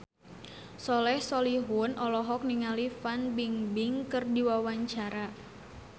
Soleh Solihun olohok ningali Fan Bingbing keur diwawancara